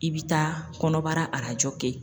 I bi taa kɔnɔbara arajo kɛ.